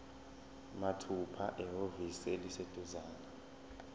mathupha ehhovisi eliseduzane